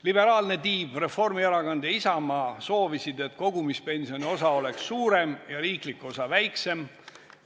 Liberaalne tiib Reformierakond ja Isamaa soovisid, et kogumispensioni osa oleks suurem ja riiklik osa väiksem.